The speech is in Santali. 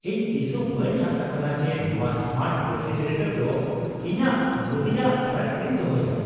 ᱤᱧ ᱛᱤᱥᱦᱚᱸ ᱵᱟᱹᱧ ᱟᱸᱥ ᱟᱠᱟᱱᱟ ᱡᱮ ᱱᱚᱣᱟ ᱥᱢᱟᱨᱴ ᱨᱮᱯᱷᱨᱤᱡᱟᱨᱮᱴᱚᱨ ᱫᱚ ᱤᱧᱟᱹᱜ ᱢᱩᱫᱤᱭᱟᱜ ᱴᱨᱟᱠ ᱨᱤᱧ ᱫᱚᱦᱚᱭᱟ ᱾